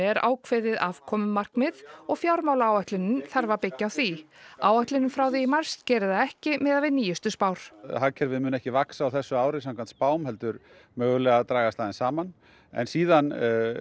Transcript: er ákveðið afkomumarkmið og fjármálaáætlunin þarf að byggja á því áætlunin frá því í mars gerir það ekki miðað við nýjustu spár hagkerfið mun ekki vaxa á þessu ári samkvæmt spám heldur mögulega dragast aðeins saman en síðan